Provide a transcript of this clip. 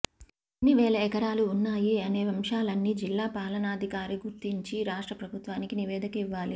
ఎన్ని వేల ఎకరాలు వున్నాయి అనే అంశాలన్నీ జిల్లా పాలనాధికారి గుర్తించి రాష్ట్ర ప్రభుత్వానికి నివేదిక ఇవ్వాలి